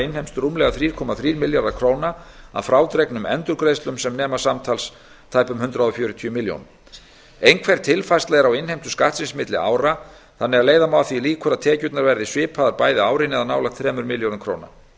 innheimst rúmlega þrjú komma þrír milljarðar króna að frádregnum endurgreiðslum sem nema samtals tæpum hundrað fjörutíu milljónum einhver tilfærsla er á innheimtu skattsins milli ára þannig að leiða má að því líkur að tekjurnar verði svipaðar bæði árin það er nálægt þremur milljörðum króna